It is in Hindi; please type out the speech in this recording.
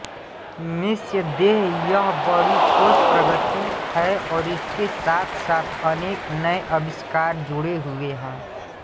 निस्संदेह यह बड़ी ठोस प्रगति है और इसके साथसाथ अनेक नए आविष्कार जुड़े हुए हैं